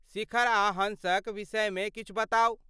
शिखर आ हॅंसक विषयमे किछु बताउ।